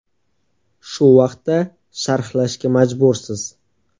Shu vaqtda sharhlashga majbursiz.